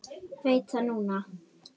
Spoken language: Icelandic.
Veit það núna.